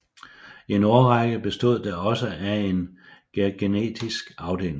I en årrække bestod der også en gærgenetisk afdeling